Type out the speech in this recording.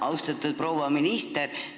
Austatud proua minister!